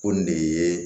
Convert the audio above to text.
Ko nin de ye